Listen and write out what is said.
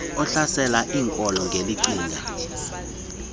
ohlasela iinkolo ngelicinga